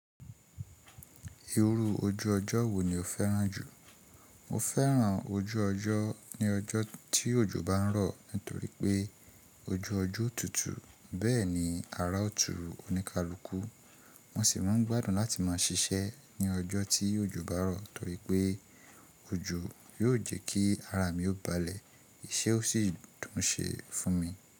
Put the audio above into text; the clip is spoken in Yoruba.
Irú ojú ọjọ́ wo ni o fẹ́ràn jù? Mo fẹ́ràn ojú ọjọ́ ní ọjọ́ tí òjò bá ń rọ̀ nítorí pé ojú ọjọ́ ó tutù. Bẹ́ẹ̀ni ara ótù oníkálùkù. Mo sì máa ń gbádùn láti má ṣiṣẹ́ ní ọjọ́ tí òjò bá rọ̀ torípé òjò yóò jẹ́ kí ara mi ó balẹ̀, iṣẹ́ ó sì dùn ṣe fún mi.